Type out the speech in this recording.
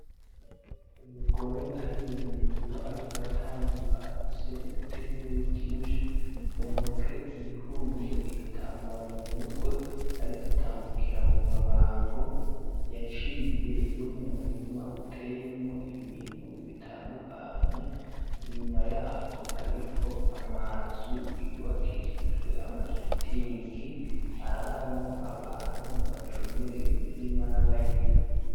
Umugore ari mu ndimiro, ariko aratambuka afise ibitenkeri vyinshi mu ntoke iyifunze igitambara mu mutwe, ariko atambukira mu mabango yaciye yo mu murima uteyemwo ibintu bitandukanye inyuma yaho hariho amazu yubakishijwe amashitingi araramwo abantu bacongere iyo mirima n'abayirimu.